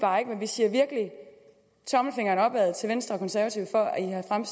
bare ikke men vi siger virkelig tommelfingeren op til venstre og konservative for at